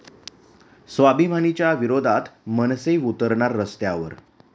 स्वाभिमानी'च्या विरोधात मनसे उतरणार रस्त्यावर